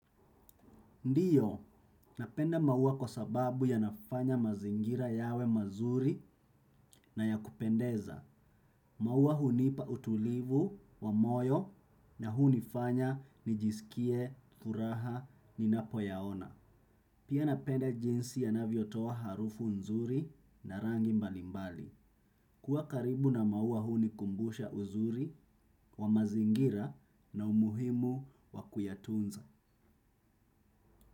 Ndiyo, napenda maua kwa sababu yanafanya mazingira yawe mazuri na ya kupendeza. Maua hunipa utulivu wa moyo na hunifanya nijisikie furaha ninapo yaona. Pia napenda jinsi yanavyotoa harufu nzuri na rangi mbalimbali. Kuwa karibu na maua hunikumbusha uzuri wa mazingira na umuhimu wa kuyatunza.